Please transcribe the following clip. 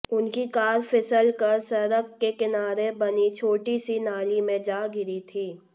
उनकी कार फिसलकर सड़क के किनारे बनी छोटी सी नाली में जा गिरी थी